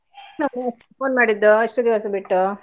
non human vocal phone ಮಾಡಿದ್ದುಇಷ್ಟು ದಿವಸ ಬಿಟ್ಟು.